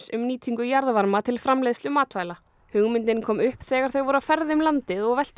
um nýtingu jarðvarma til framleiðslu matvæla hugmyndin kom upp þegar þau voru á ferð um landið og veltu